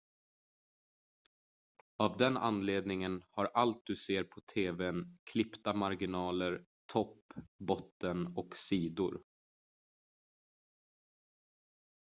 av den anledningen har allt du ser på tv:n klippta marginaler topp botten och sidor